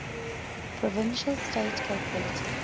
provincial state capabilities